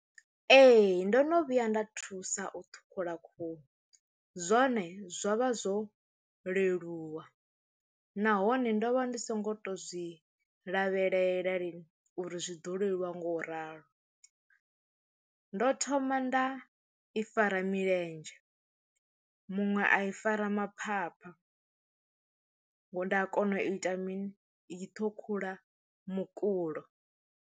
Ee ndo no vhuya nda thusa u ṱhukhula khuhu zwone zwo vha zwo leluwa nahone ndo vha ndi songo to zwi lavhelela lini uri zwi ḓo leluwa nga u ralo. Ndo thoma nda i fara milenzhe muṅwe a i fara ma phapha nda kona u ita mini i ṱhukhula mukulo.